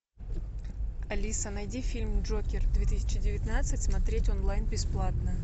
алиса найди фильм джокер две тысячи девятнадцать смотреть онлайн бесплатно